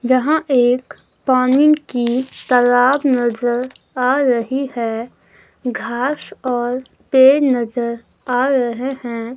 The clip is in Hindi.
यहां एक पानी की तालाब नजर आ रही है घास और पेड़ नजर आ रहे हैं।